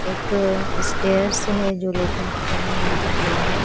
एक स्टैर्स है जो लोखण्ड की बनी हुई दिख रही है।